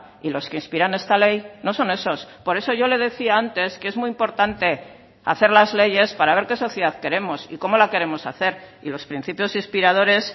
y los que inspiran esta ley no son esos por eso yo le decía antes que es muy importante hacer las leyes para ver qué sociedad queremos y cómo la queremos hacer y los principios inspiradores